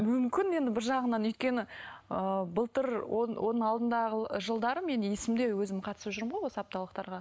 мүмкін енді бір жағынан өйткені ыыы былтыр оның алдындағы жылдары мен есімде өзім қатысып жүрмін ғой осы апталықтарға